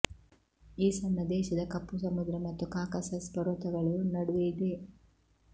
ಈ ಸಣ್ಣ ದೇಶದ ಕಪ್ಪು ಸಮುದ್ರ ಮತ್ತು ಕಾಕಸಸ್ ಪರ್ವತಗಳು ನಡುವೆ ಇದೆ